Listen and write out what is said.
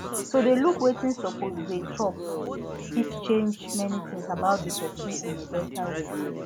to dey look wetin suppose dey chop fit change many things about the person in a better way